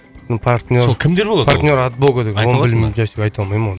партнер партнер от бога айта алмаймын оны